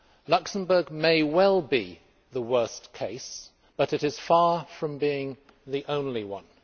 Luxembourg may well be the worst case but it is far from being the only one.